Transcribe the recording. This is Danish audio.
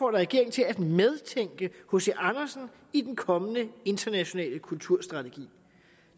regeringen til at medtænke hc andersen i den kommende internationale kulturstrategi